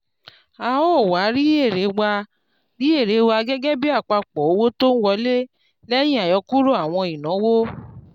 a ó wá rí èrè wá rí èrè gẹ́gẹ́ bí àpapọ̀ owó tó wọlé lẹ́yìn àyọkúrò àwọn ìnáwó.